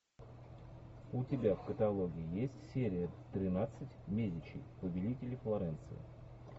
у тебя в каталоге есть серия тринадцать медичи повелители флоренции